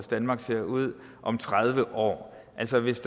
danmark ser ud om tredive år altså hvis